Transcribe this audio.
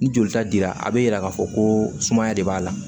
Ni jolita dira a bɛ yira k'a fɔ ko sumaya de b'a la